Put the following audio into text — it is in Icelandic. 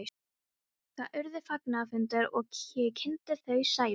Það urðu fagnaðarfundir og ég kynnti þau Sævar.